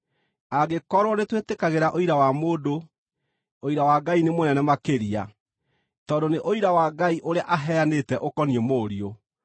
Angĩkorwo nĩtwĩtĩkagĩra ũira wa mũndũ, ũira wa Ngai nĩ mũnene makĩria, tondũ nĩ ũira wa Ngai ũrĩa aheanĩte ũkoniĩ Mũriũ.